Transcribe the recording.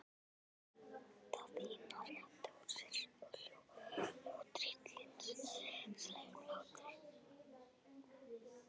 Daðína rétti úr sér og hló tryllingslegum hlátri.